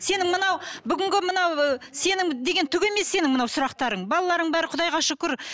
сенің мынау бүгінгі мынау ы сенің деген түк емес сенің мынау сұрақтарың балаларың бәрі құдайға шүкір